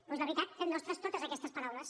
doncs la veritat fem nostres totes aquestes paraules